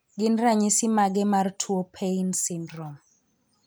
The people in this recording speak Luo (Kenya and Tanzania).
Gin ranyisi mage mar tuo Paine syndrome?